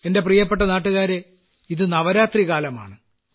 എന്റെ പ്രിയപ്പെട്ട നാട്ടുകാരേ ഇത് നവരാത്രികാലമാണ്